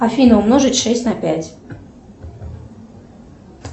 афина умножить шесть на пять